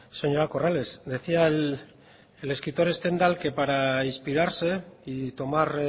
señora corrales decía el escritor stendhal que para inspirarse y tomar